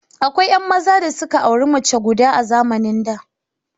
Akwai 'yan maza da suka auri mace guda a zamanin da.